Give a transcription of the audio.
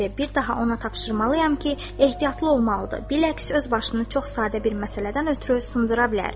Bir daha ona tapşırmalıyam ki, ehtiyatlı olmalıdır, biləksi öz başını çox sadə bir məsələdən ötrü sındıra bilər.